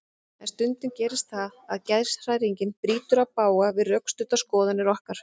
En stundum gerist það að geðshræring brýtur í bága við rökstuddar skoðanir okkar.